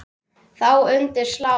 Þá undir slá.